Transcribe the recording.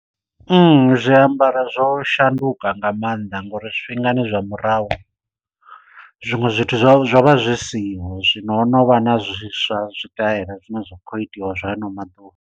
Zwiambaro zwo shanduka nga maanḓa ngauri zwifhingani zwa murahu zwiṅwe zwithu zwo zwo vha zwi siho zwino ho no vha na zwiswa zwitaela zwine zwa khou itiwa zwa hano maḓuvha.